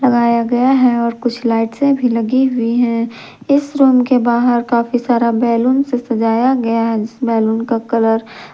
या गया है और कुछ लाइट्से भी लगी हुई हैं इस रूम के बाहर काफी सारा बैलून से सजाया गया है जिस बैलून का कलर --